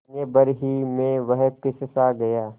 महीने भर ही में वह पिससा गया